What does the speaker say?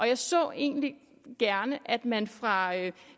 jeg så egentlig gerne at man fra